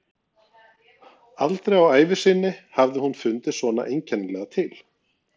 Aldrei á ævi sinni hafði hún fundið svona einkennilega til.